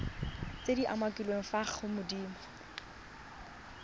tse di umakiliweng fa godimo